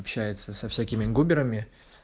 общается со всякими губерами